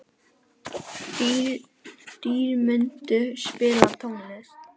Dýrmundur, spilaðu tónlist.